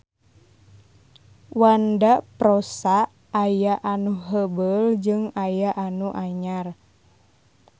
Wanda prosa aya nu heubeul jeung aya nu anyar.